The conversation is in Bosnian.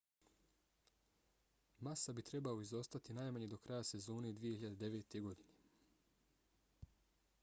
massa bi trebao izostati najmanje do kraja sezone 2009. godine